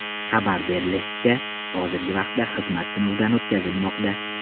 Xabar berilishicha, hozirgi vaqtda xizmat sinovdan o‘tkazilmoqda.